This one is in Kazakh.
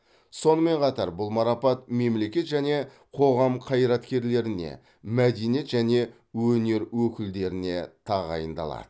сонымен қатар бұл марапат мемлекет және қоғам қайраткерлеріне мәденеиет және өнер өкілдеріне тағайындалады